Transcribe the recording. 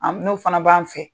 Hali n'o fana b'an fɛ